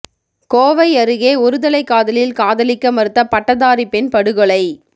கோவை அருகே ஒருதலைகாதலில் காதலிக்க மறுத்த பட்டதாரி பெண் படுகொலை